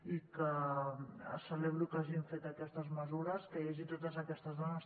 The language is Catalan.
i celebro que hagin fet aquestes mesures que hi hagi totes aquestes dones